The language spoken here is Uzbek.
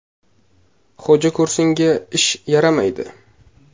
Xo‘jako‘rsinga ish yaramaydi.